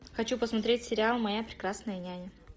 хочу посмотреть сериал моя прекрасная няня